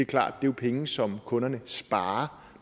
klart at det er penge som kunderne sparer